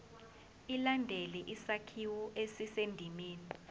ilandele isakhiwo esisendimeni